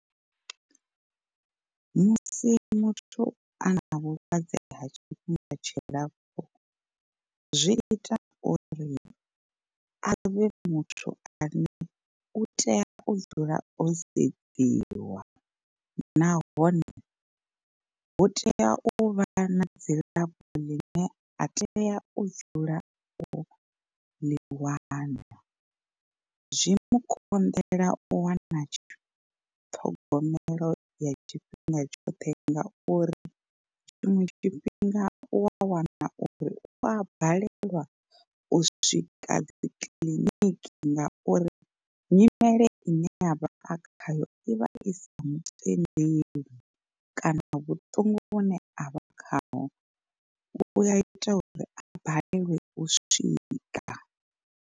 Musi muthu a na vhulwadze ha tshifhinga tshilapfu zwi ita uri avhe muthu ane u tea u dzula o sedziwa. Nahone hu tea uvha na dzilafho ḽine a tea u dzula u ḽi wana, zwi mu konḓela u wana ṱhogomelo ya tshifhinga tshoṱhe ngauri tshiṅwe tshifhinga u wa wana uri u a balelwa u swika dzi kiḽiniki. Ngauri nyimele ine avha a khayo i vha isa mutendeli kana vhuṱungu vhune avha khaho u ya ita uri a balelwe u swika.